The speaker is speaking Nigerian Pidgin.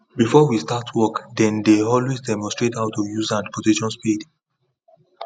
before we start work then dey always demonstrate how to use and position spade